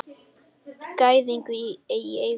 Gæðingi í eigu pabba.